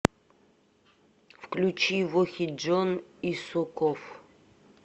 включи вохиджон исоков